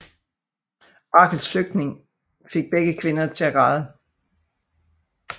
Rachels flytning fik begge kvinder til at græde